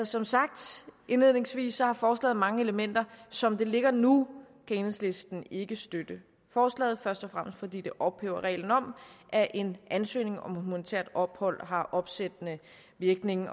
som sagt indledningsvis har forslaget mange elementer som det ligger nu kan enhedslisten ikke støtte forslaget først og fremmest fordi det ophæver reglen om at en ansøgning om humanitært ophold har opsættende virkning